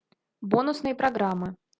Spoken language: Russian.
бонусные программы